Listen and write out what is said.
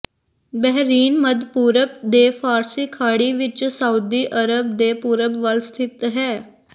Bahrain ਮੱਧ ਪੂਰਬ ਦੇ ਫਾਰਸੀ ਖਾੜੀ ਵਿਚ ਸਾਊਦੀ ਅਰਬ ਦੇ ਪੂਰਬ ਵੱਲ ਸਥਿਤ ਹੈ